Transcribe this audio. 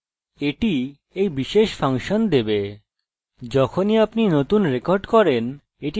যখনই আপনি নতুন রেকর্ড করেন এটি নিজে থেকেই বেড়ে যায়